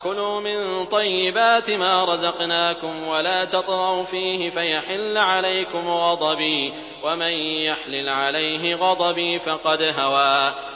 كُلُوا مِن طَيِّبَاتِ مَا رَزَقْنَاكُمْ وَلَا تَطْغَوْا فِيهِ فَيَحِلَّ عَلَيْكُمْ غَضَبِي ۖ وَمَن يَحْلِلْ عَلَيْهِ غَضَبِي فَقَدْ هَوَىٰ